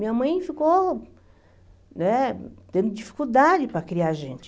Minha mãe ficou, né, tendo dificuldade para criar gente.